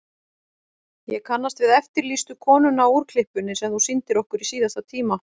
Ég kannast við eftirlýstu konuna á úrklippunni sem þú sýndir okkur í síðasta tíma.